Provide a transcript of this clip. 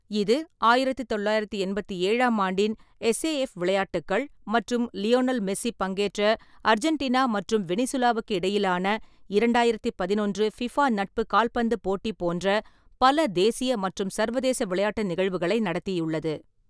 இது ஆயிரத்து தொள்ளாயிரத்து எண்பத்தி ஏழாம் ஆண்டின் எஸ்ஏஎஃப் விளையாட்டுக்கள் மற்றும் லியோனல் மெஸ்ஸி பங்கேற்ற அர்ஜென்டினா மற்றும் வெனிசுலாவுக்கு இடையிலான இரண்டாயிரத்து பதினொன்று ஃபிஃபா நட்பு கால்பந்து போட்டி போன்ற பல தேசிய மற்றும் சர்வதேச விளையாட்டு நிகழ்வுகளை நடத்தியுள்ளது.